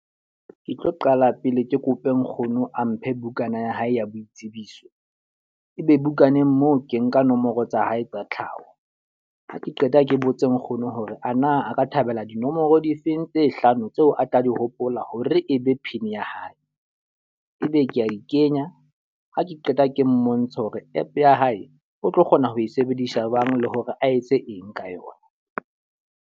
Ke tlo qala pele ke kope nkgono a mphe bukana ya hae ya boitsebiso. E be bukaneng moo ke nka nomoro tsa hae tsa tlhaho. Ha ke qeta ke botse nkgono hore ana a ka thabela dinomoro difeng tse hlano tseo a tla di hopola hore e be pin ya hae. E be ke a di kenya, ha ke qeta ke mmontshe hore app ya hae o tlo kgona ho e sebedisa jwang le hore a etse eng ka yona.